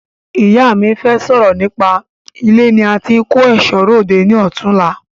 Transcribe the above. Ìyá mí fẹ sọ̀rọ̀ nípa ilé ní a tí ń kò èṣọ́ ròde ni ọ̀túnla